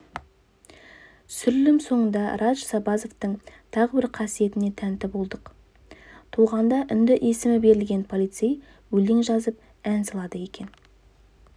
түсірілім соңында радж сабазовтың тағы бір қасиетіне тәнті болдық туғанда үнді есімі берілген полицей өлең жазып ән салады екен